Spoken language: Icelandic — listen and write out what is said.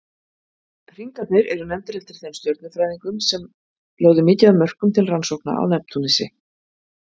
Hringarnir eru nefndir eftir þeim stjörnufræðingum sem lögðu mikið af mörkum til rannsókna á Neptúnusi.